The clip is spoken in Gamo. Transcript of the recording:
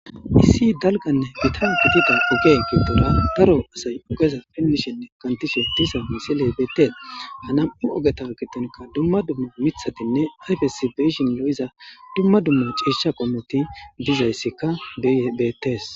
Issi dalganne gita gidida oge giddora daro asay ogeza pinmishenne kantishe disa misiley beetes.ha nam7u ogeta kidonka dumma dumma mithatinne ayfesibeyshin lo7iza dumma dumma ciisha qomoti dizayssikka bettees.